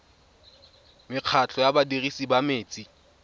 mekgatlho ya badirisi ba metsi